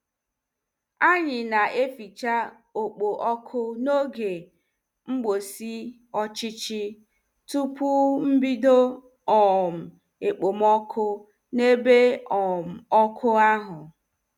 Anyị na-eficha ọkpọ ọkụ n'oge mgbụsị ọchịchị tupu mbido um ekpomoku n'ebe um ọkụ ahụ.